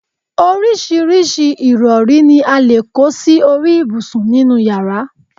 oríṣiríṣi ìrọ̀rí ni a lè kó sí orí ibùsùn nínú yàrá